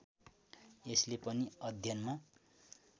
यसले पनि अध्ययनमा